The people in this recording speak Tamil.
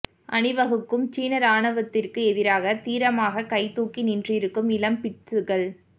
அணிவகுக்கும் சீன ராணுவத்திற்கு எதிராக தீரமாக கை தூக்கி நின்றிருக்கும் இளம் பிட்சுக்கள்